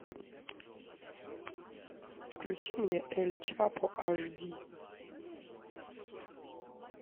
включи мне эль чапо аш ди